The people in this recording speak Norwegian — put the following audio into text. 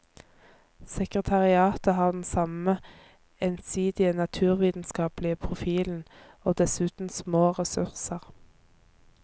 Sekretariatet har den samme, ensidige naturvitenskapelige profilen, og dessuten små ressurser.